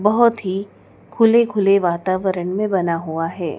बहोत ही खुले खुले वातावरण में बना हुआ है।